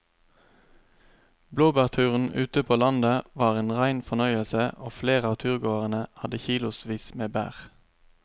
Blåbærturen ute på landet var en rein fornøyelse og flere av turgåerene hadde kilosvis med bær.